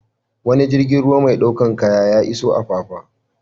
Wani jirgin ruwa mai ɗaukar kaya ya iso Apapa.